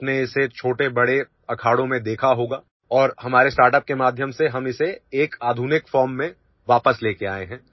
आपने इसे छोटे बड़े अखाड़ों में देखा होगा और हमारे स्टार्टअप के माध्यम से हम इसे एक आधुनिक फॉर्म में वापस लेकर आए हैं